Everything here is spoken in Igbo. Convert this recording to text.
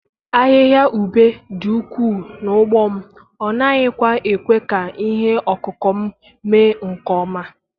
Ahịhịa ube dị ukwuu n'ugbo m, ọ naghịkwa ekwe ka ihe ọkụkụ m mee nke ọma.